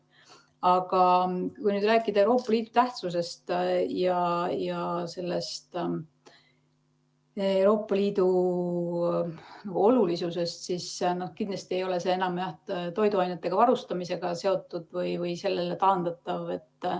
Aga kui rääkida Euroopa Liidu tähtsusest ja Euroopa Liidu olulisusest, siis kindlasti ei ole see enam jah toiduainetega varustamisega seotud või sellele taandatav.